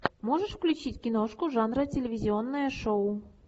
можешь включить киношку жанра телевизионное шоу